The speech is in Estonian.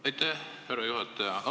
Aitäh, härra juhataja!